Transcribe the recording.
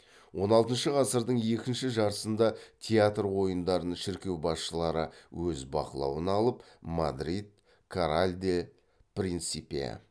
он алтыншы ғасырдың екінші жартысында театр ойындарын шіркеу басшылары өз бақылауына алып мадрид